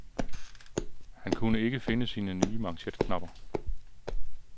Han kunne ikke finde sine nye manchetknapper.